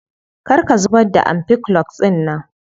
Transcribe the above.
Kar ka zubar da ampiclox dinnan.